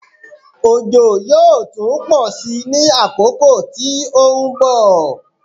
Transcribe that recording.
Òjò yóò tún pọ̀ sí ní àkókò tí ó ń bọ̀.